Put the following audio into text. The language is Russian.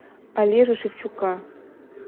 олежу шевчука